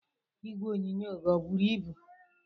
Igwe onyonyo gị ọ buru ibu?